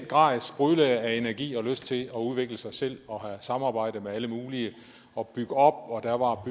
grad sprudlede af energi og lyst til at udvikle sig selv og have samarbejde med alle mulige og bygge op og